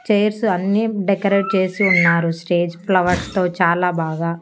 Chairs అన్ని decorate చేసి ఉన్నారు స్టేజ్ ఫ్లవర్స్ తో చాలా బాగా.